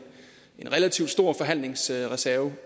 relativt stor forhandlingsreserve